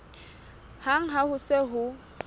hang ha ho se ho